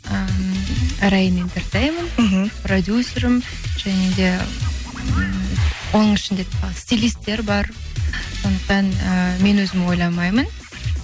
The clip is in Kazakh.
ыыы арайым интертеймент мхм продюсерім және де ммм оның ішінде стилистер бар сондықтан ы мен өзім ойламаймын